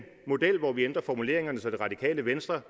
model hvor vi ændrer formuleringerne så det radikale venstre